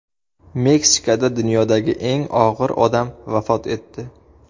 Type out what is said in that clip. Meksikada dunyodagi eng og‘ir odam vafot etdi.